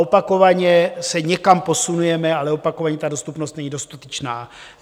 Opakovaně se někam posunujeme, ale opakovaně ta dostupnost není dostatečná.